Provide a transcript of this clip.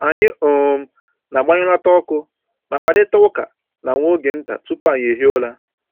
Anyị um na-agbanyụlata ọkụ ma kparịta ụka na nwa oge nta tupu anyị ehie ụra